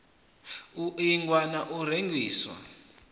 u ingwa na u rengiswa